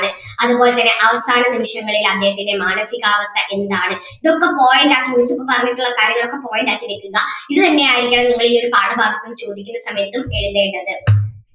അതുപോലെ തന്നെ അവസാന നിമിഷങ്ങളിൽ അദ്ദേഹത്തിൻ്റെ മാനസികാവസ്ഥ എന്താണ് ഇതൊക്കെ point ആക്കി വെക്കു ഇപ്പം പറഞ്ഞിട്ടുള്ള കാര്യങ്ങൾ ഒക്കെ point ആക്കി വെക്കുക ഇത് തന്നെ ആയിരിക്കണം നിങ്ങൾ ഈ ഒരു പാഠഭാഗത്ത് നിന്ന് ചോദിക്കുന്ന സമയത്തും എഴുതേണ്ടത്